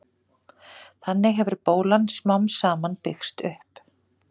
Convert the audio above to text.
Þannig hefur bólan smám saman byggst upp.